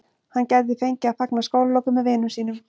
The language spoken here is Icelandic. Hann gæti því fengið að fagna skólalokum með vinum sínum.